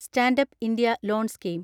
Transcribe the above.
stand up India loan scheme